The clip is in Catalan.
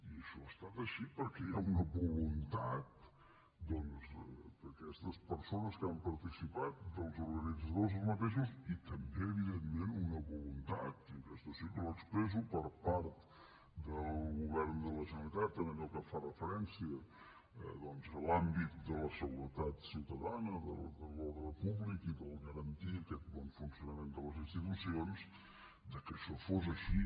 i això ha estat així perquè hi ha una voluntat doncs d’aquestes persones que hi han participat dels organitzadors mateixos i també evidentment una voluntat i aquesta sí que l’expresso per part del govern de la generalitat en allò que fa referència a l’àmbit de la seguretat ciutadana de l’ordre públic i de garantir aquest bon funcionament de les institucions que això fos així